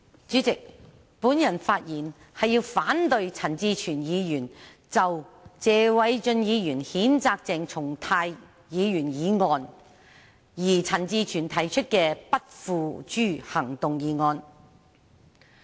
主席，我發言是要反對陳志全議員就謝偉俊議員譴責鄭松泰議員議案而提出的不付諸行動議案。